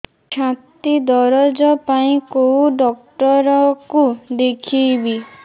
ଛାତି ଦରଜ ପାଇଁ କୋଉ ଡକ୍ଟର କୁ ଦେଖେଇବି